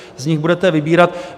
Z nich budete vybírat.